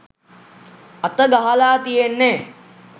අත ගහලා තියෙන්නෙ.